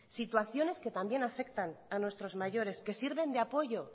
situaciones que también afectan a nuestros mayores que sirven de apoyo